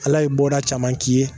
Ala ye bɔda caman k'i ye